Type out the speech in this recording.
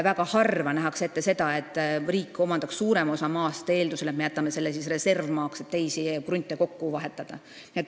Väga harva nähakse ette, et riik omandab suurema osa maast, eeldusega, et see jäetakse reservmaaks, et saaks teisi krunte kokku vahetada.